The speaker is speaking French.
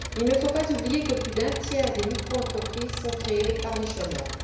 Il ne faut pas oublier que plus d'un tiers des microentreprises sont créées par des chômeurs.